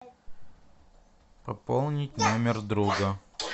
пополнить номер друга